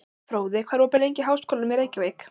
Fróði, hvað er opið lengi í Háskólanum í Reykjavík?